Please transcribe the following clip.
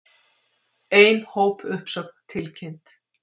Ein hópuppsögn tilkynnt